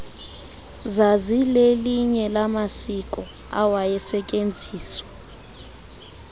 zazilelinye lamaziko awayesetyenziswa